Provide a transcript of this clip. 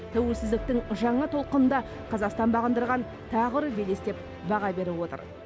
тәуелсіздіктің жаңа толқынында қазақстан бағындырған тағы бір белес деп баға беріп отыр